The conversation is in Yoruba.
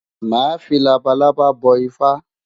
Màá fi labalábá bọ Ifá.